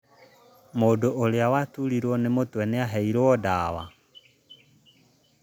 Mũndũ ũrĩa waturirwo nĩ mũtwe nĩaheirwo ndawa